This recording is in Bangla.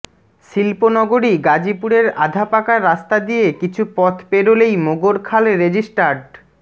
শিল্পনগরী গাজীপুরের আধাপাকা রাস্তা দিয়ে কিছু পথ পেরোলেই মোগরখাল রেজিস্ট্রার্ড